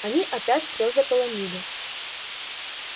они опять все заполонили